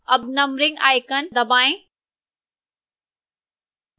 अब numbering icon दबाएं